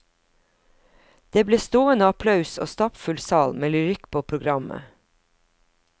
Det ble stående applaus og stappfull sal med lyrikk på programmet.